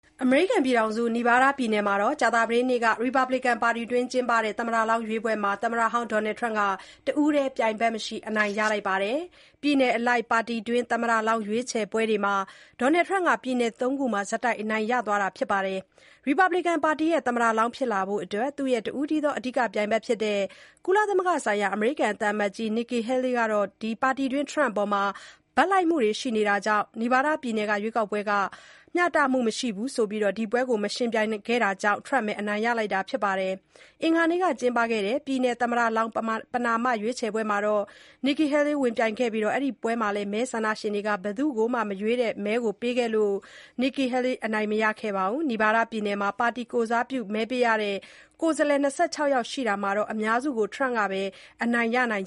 အမေရိကန်ပြည်ထောင်စု Nevada ပြည်နယ်မှာ ကြာသပတေးနေ့က ရီပတ်ဘလစ်ကန် ပါတီတွင်း ကျင်းပတဲ့ caucus သမ္မတလောင်းရွေးပွဲမှာ သမ္မတဟောင်း Donald Trump က တဦးတည်း ပြိုင်ဘက်မရှိ အနိုင်ရလိုက်ပါတယ်။ ပြည်နယ်အလိုက် ပါတီတွင်း သမ္မတလောင်း ရွေးချယ်ပွဲတွေမှာ Trump က ပြည်နယ် ၃ ခုမှာ ဆက်တိုက် အနိုင်ရ သွားတာပါ။ ရီပတ်ဘလစ်ကန်ပါတီရဲ့ သမ္မတလောင်း ဖြစ်လာဖို့အတွက် သူရဲ့ တဦးတည်းသော အဓိက ပြိုင်ဘက်ဖြစ်တဲ့ ကုလသမဂ္ဂဆိုင်ရာ အမေရိကန် သံအမတ်ကြီးဟောင်း Nikki Haley က ပါတီတွင်းTrump အပေါ် ဘက်လိုက်မှုတွေ ရှိနေတာကြောင့် Nevada ပြည်နယ် caucus ဟာ မျှတမှုမရှိဘူးလို့ ဆိုပြီး ဒီပွဲမှာ ဝင်မပြိုင်ခဲ့တာကြောင့် Trump ပဲ အနိုင်ရလိုက်တာပါ။ အင်္ဂါနေ့က ကျင်းပခဲ့တဲ့ ပြည်နယ် သမ္မတလောင်း ပဏာမ ရွေးချယ်ပွဲမှာ Nikki Haley ဝင်ပြိုင်ခဲ့ပြီး အဲ့ဒီပွဲမှာလည်း မဲဆန္ဒရှင်တွေက ဘယ်သူ့ကိုမှ မရွေးတဲ့ မဲကို ပေးခဲ့လို့ Nikki Haley အနိုင်မရခဲ့ပါဘူး။ နီဗားဒါး ပြည်နယ်မှာ ပါတီကိုယ်စားပြု မဲပေးရတဲ့ ကိုယ်စားလှယ် ၂၆ ယောက်ရှိတာမှာ အများစုကို Trump ကပဲ အနိုင်ရနိုင်